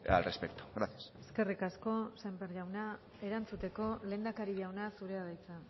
al respecto gracias eskerrik asko sémper jauna erantzuteko lehendakari jauna zurea da hitza